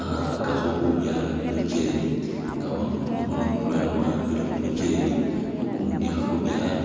akhakhakakho khubyala kumukyeli nga kumukhono mutwela kwa’ambile kumu’kyeli ukundi khaku’byaala .